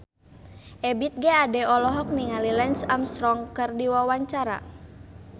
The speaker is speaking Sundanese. Ebith G. Ade olohok ningali Lance Armstrong keur diwawancara